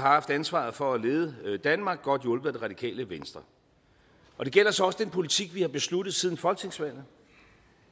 har haft ansvaret for at lede danmark godt hjulpet af det radikale venstre og det gælder så også den politik vi har besluttet siden folketingsvalget